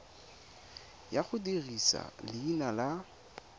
ya go dirisa leina la